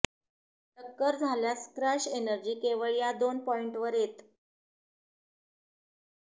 टक्कर झाल्यास crash energy केवळ या दोन पॉईंटवर येतं